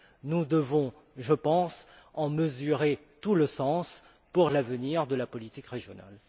Nous devons, je pense, en mesurer tout le sens pour l'avenir de la politique régionale.